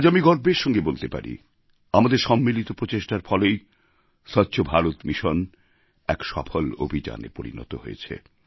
আজ আমি গর্বের সঙ্গে বলতে পারি আমাদের সম্মিলিত প্রচেষ্টার ফলেই স্বচ্ছ ভারত মিশন এক সফল অভিযানে পরিণত হয়েছে